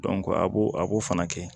a b'o a b'o fana kɛ